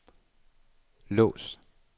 lås